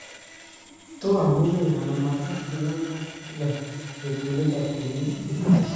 toa amune anan magat inyo kaa kila letuunet ab kenyit